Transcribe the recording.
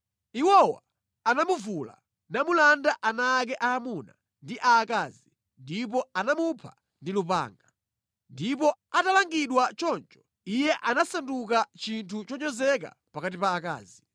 Iwowa anamuvula, namulanda ana ake aamuna ndi aakazi ndipo anamupha ndi lupanga. Ndipo atalangidwa choncho, iye anasanduka chinthu chonyozeka pakati pa akazi.